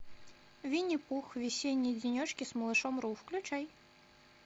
винни пух весенние денечки с малышом ру включай